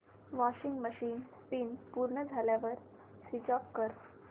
washing machine spin पूर्ण झाल्यावर switch off कर